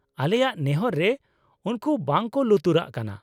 ᱟᱞᱮᱭᱟᱜ ᱱᱮᱦᱚᱨ ᱨᱮ ᱩᱱᱠᱩ ᱵᱟᱝ ᱠᱚ ᱞᱩᱛᱩᱨᱟᱜ ᱠᱟᱱᱟ ᱾